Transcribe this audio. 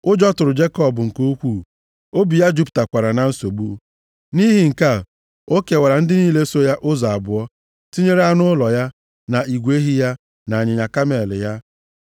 Ụjọ tụrụ Jekọb nke ukwuu, obi ya jupụtakwara na nsogbu. Nʼihi nke a, o kewara ndị niile so ya ụzọ abụọ, tinyere anụ ụlọ ya, na igwe ehi ya na ịnyịnya kamel ya.